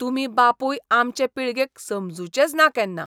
तुमी बापूय आमचे पिळगेक समजुचेच ना केन्ना.